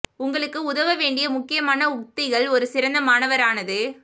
உங்களுக்கு உதவ வேண்டிய முக்கியமான உத்திகள் ஒரு சிறந்த மாணவர் ஆனது